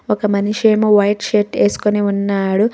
ఒక మనిషేమో white shirt ఏసుకొని ఉన్నాడు.